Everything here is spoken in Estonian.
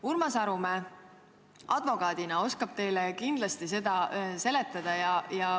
Urmas Arumäe advokaadina oskab teile seda kindlasti seletada.